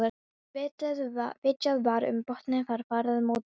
Þegar vitjað var um botnnetin var farið á mótorbát frá